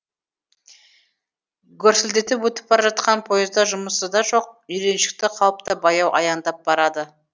гүрсілдетіп өтіп бара жатқан поезда жұмысы да жоқ үйреншікті қалыпта баяу аяңдап барады